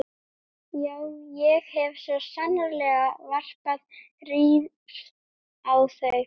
Já, ég hef svo sannarlega varpað rýrð á þau.